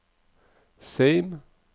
Seim